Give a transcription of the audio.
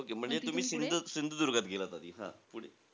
Okey म्हणजे तुम्ही सिंध सिंधुदुर्गात गेलात आधी. हां पुढे,